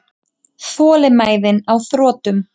Þolinmæðin á þrotum.